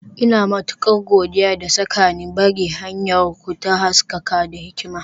Ina matukar godiya da saka ni, Bari hanyarku ta haskaka da hikima.